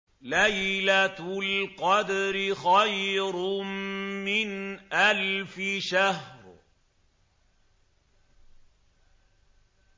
لَيْلَةُ الْقَدْرِ خَيْرٌ مِّنْ أَلْفِ شَهْرٍ